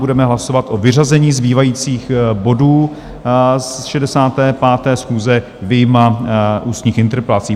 Budeme hlasovat o vyřazení zbývajících bodů z 65. schůze vyjma ústních interpelací.